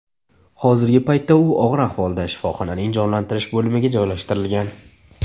Hozirgi paytda u og‘ir ahvolda shifoxonaning jonlantirish bo‘limiga joylashtirilgan.